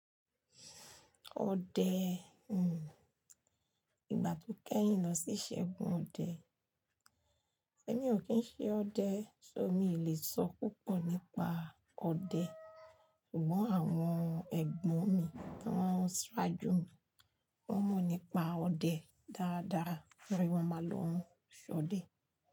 Ọdẹ, hmm, ìgbà to kẹ́yìn lọ si isegùn ọdẹ. Ẹ̀mi o kín ṣẹ ọdẹ, so mi lẹ sọ púpọ̀ nípa ọdẹ. Sugbon àwon ẹgbọn mi, wọn saajú mi, won mọ nípa ọdẹ dáadáa nítorí wọn ma lọ soọdẹ.